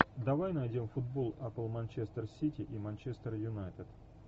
давай найдем футбол апл манчестер сити и манчестер юнайтед